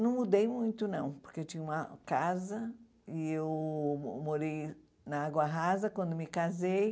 Não mudei muito, não, porque eu tinha uma casa e eu morei na Água Rasa quando me casei.